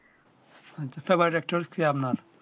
আচ্ছা favorite actor কে আপনার